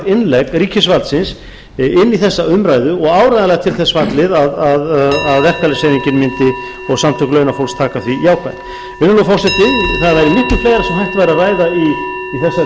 innlegg ríkisvaldsins inn í þessa umræðu og áreiðanlega til þess fallið að verkalýðshreyfingin og samtök launafólks taka því jákvætt virðulegi forseti það væri miklu fleira sem hægt væri að ræða í þessari umræðu